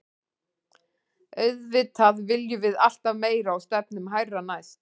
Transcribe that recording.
Auðvitað viljum við alltaf meira og stefnum hærra næst.